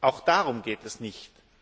Auch darum geht es nicht.